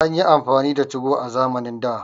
An yi amfani da 2go a zamanin da